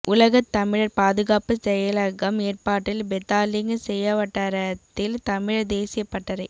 உலகத் தமிழர் பாதுகாப்பு செயலகம் ஏற்பாட்டில் பெத்தாலிங் செயா வட்டாரத்தில் தமிழர் தேசியப் பட்டறை